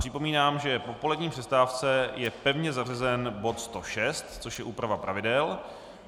Připomínám, že po polední přestávce je pevně zařazen bod 106, což je úprava pravidel.